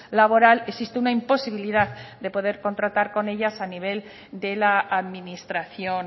laboral existe una imposibilidad de poder contratar con ellas a nivel de la administración